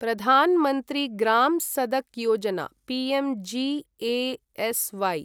Pradhan Mantri Gram Sadak Yojana PMGSY